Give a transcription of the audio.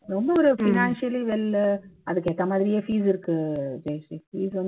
ரொம்ப ஒரு financially well உ அதுக்கு ஏத்த மாதிரியே fees இருக்கு ஜெயஸ்ரீ fees வந்து